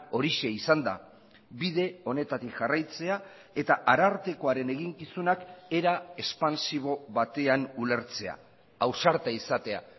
horixe izan da bide honetatik jarraitzea eta arartekoaren eginkizunak era espansibo batean ulertzea ausarta izatea